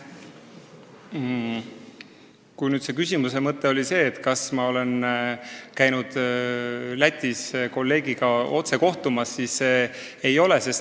Kui küsimuse mõte oli see, kas ma olen käinud Lätis kolleegiga otse kohtumas, siis vastan, et ei ole.